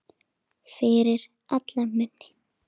Fyrir alla muni.